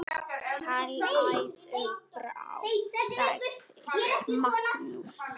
Hlæðu bara, sagði Magnús.